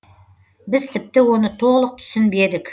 біз тіпті оны толық түсінбедік